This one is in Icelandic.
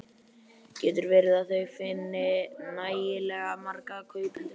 Getur verið að þau finni nægilega marga kaupendur?